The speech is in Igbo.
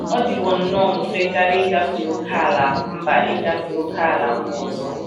Ọ dịwo nnọọ mfe karị ịgafe ókèala mba ịgafe ókèala mba ọzọ